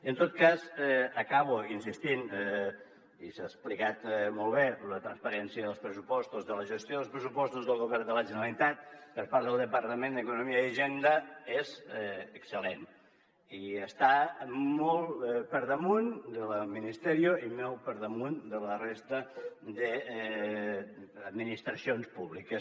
en tot cas acabo insistint·hi i s’ha explicat molt bé la transparència dels pressu·postos de la gestió dels pressupostos del govern de la generalitat per part del depar·tament d’economia i hisenda és excel·lent i està molt per damunt de la del ministerio i molt per damunt de la resta d’administracions públiques